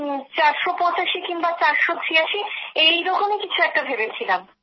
চারশো পঁচাশি কিংবা চারশো ছিয়াঁশি এইরকম কিছু একটা ভেবেছিলাম